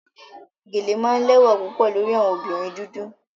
Geles are usually very beautiful on black women